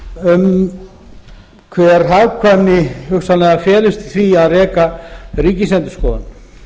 um hver hagkvæmni hugsanlega felist í því að reka ríkisendurskoðun